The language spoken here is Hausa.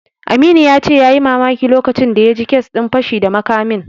Aminu ya ce yayi mamaki lokacin da ya ji kes din fashi da makamin.